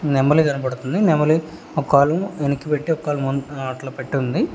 నెమలి కనబడుతుంది నెమలి ఒకాలు వెనక్కి పెట్టి ఒకాలు ము ఆ అట్ల పెట్టి ఉంది.